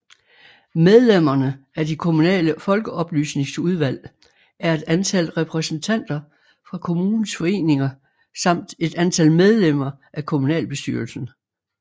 Medlemmerne af de kommunale folkeoplysningsudvalg er et antal repræsentanter fra kommunens foreninger samt et antal medlemmer af kommunalbestyrelsen